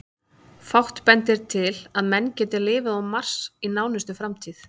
Fátt bendir til að menn geti lifað á Mars í nánustu framtíð.